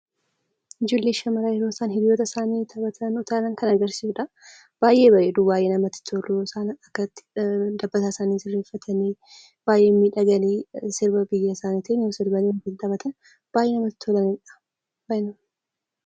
Ijoollee shamaraa yeroo isaan hiriyyoota isaani taphatan, utaalan kan agarsiisudha. Baayyee bareedu, baayyee namatti tolu. isaan akkatti isaan dabasaa isaanii sirreeffatani baayyee miidhaganii ,sirba biyya isaaniitiin yoo sirbanii wajjun taphatan baayyee namatti tolanidha.